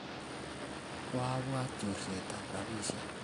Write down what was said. koabwat chorseta robinik